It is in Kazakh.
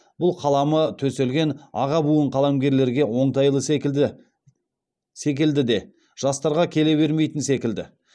бұл қаламы төселген аға буын қаламгерлерге оңтайлы секілді де жастарға келе бермейтін секілді